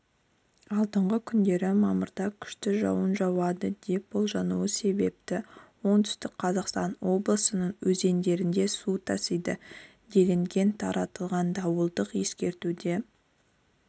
алдағы күндері мамырда күшті жауын жауады деп болжануы себепті оңтүстік қазақстан облысының өзендерінде су тасиды делінген таратылған дауылдық ескертуде